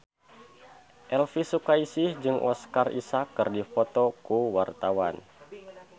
Elvy Sukaesih jeung Oscar Isaac keur dipoto ku wartawan